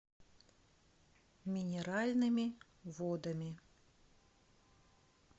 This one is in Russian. минеральными водами